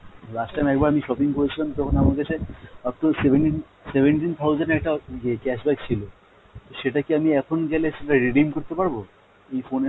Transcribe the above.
last time একবার আমি shopping করেছিলাম তখন আমার কাছে up to seventeen, seventeen thousand এর একটা ইয়ে cash back ছিল। তো সেটা কি আমি এখন গেলে সেটা redeem করতে পারবো এই phone এর